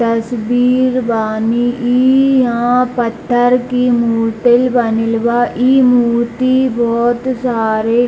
तस्वीर बानी ई इहाँ पत्थर की मूर्तिल बनिल बा ई मूर्ति बहोत सारे --